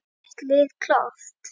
Er þitt lið klárt?